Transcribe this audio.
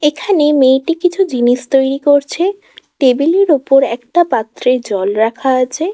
এখানে মেয়েটি কিছু জিনিস তৈরি করছে টেবিল -এর ওপর একটা পাত্রে জল রাখা আছে।